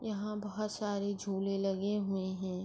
یہا بھوت سارے جھولے لگے ہوئے ہے۔